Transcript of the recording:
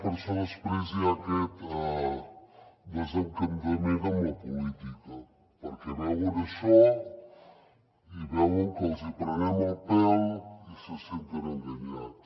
per això després hi ha aquest desencantament amb la política perquè veuen això i veuen que els hi prenem el pèl i se senten enganyats